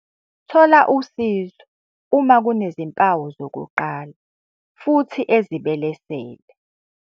Thola usizo uma kunezimpawu zokuqala futhi ezibelesele.